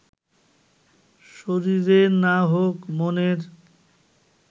শরীরের না হোক, মনের